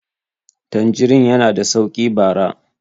tanjirin yana da sauki bara